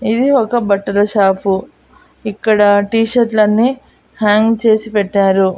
ఇది ఒక బట్టల షాపు ఇక్కడ టీ షర్ట్ లన్నీ హ్యంగ్ చేసి పెట్టారు.